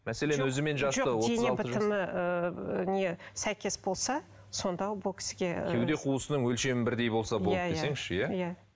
дене бітімі ыыы не сәйкес болса сонда бұл кісіге кеуде қуысының өлшемі бірдей болса болды десеңізші иә иә